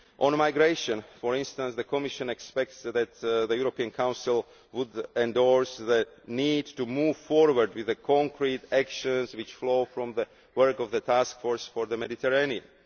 On migration, for instance, the Commission expects that the European Council will endorse the need to move forward with the concrete actions which flow from the work of the Task Force for the Mediterranean.